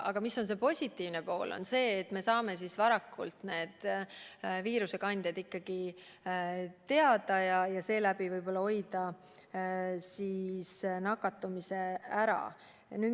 Aga positiivne pool on see, et me saame varakult viirusekandjad teada ja tänu sellele võib-olla paljud nakatumised ära hoida.